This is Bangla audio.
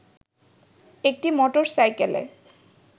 একটি মোটর সাইকেলে